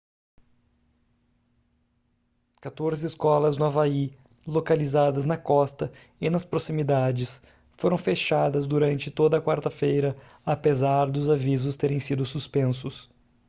quatorze escolas no havaí localizadas na costa e nas proximidades foram fechadas durante toda a quarta-feira apesar dos avisos terem sido suspensos